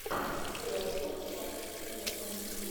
уотфорд против эвертона